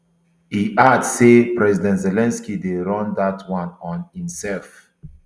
e add say president zelensky dey run dat one on imself